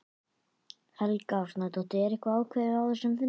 Helga Arnardóttir: En var eitthvað ákveðið á þessum fundi?